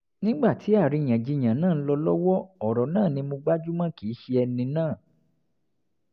nígbà tí àríyànjiyàn náà ń lọ lọ́wọ́ ọ̀rọ̀ náà ni mo gbájú mọ́ kìí ṣe ẹni náà